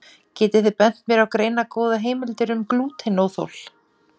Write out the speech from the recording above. getið þið bent mér á greinargóðar heimildir um glútenóþol